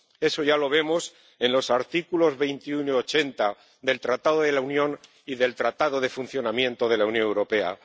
Eso ya lo vemos en los artículos 21 y 80 del Tratado de la Unión y del Tratado de Funcionamiento de la Unión Europea.